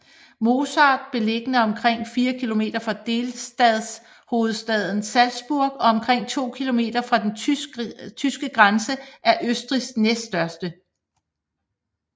Mozart beliggende omkring fire kilometer fra delstatshovedstaden Salzburg og omkring 2 kilometer fra den tyske grænse er Østrigs næststørste